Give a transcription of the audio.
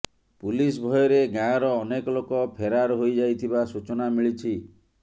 police ଭୟରେ ଗାଁର ଅନେକ ଲୋକ ଫେରାର ହୋଇ ଯାଇଥିବା ସୂଚନା ମିଳିଛି